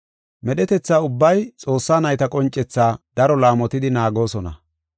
Medhetetha ubbay Xoossaa nayta qoncethaa daro laamotidi naagoosona.